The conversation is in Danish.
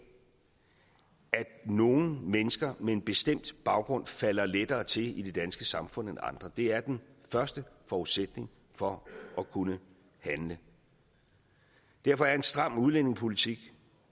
nogle mennesker med en bestemt baggrund falder lettere til i det danske samfund end andre det er den første forudsætning for at kunne handle derfor er en stram udlændingepolitik